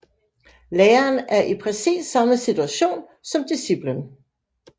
Læreren er i præcis samme situation som disciplen